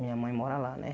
Minha mãe mora lá, né?